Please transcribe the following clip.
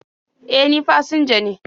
E, ni fasinja ne..